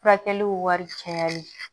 Furakɛliw wari cayali